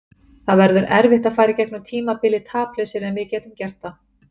Það verður erfitt að fara í gegnum tímabilið taplausir en við getum gert það.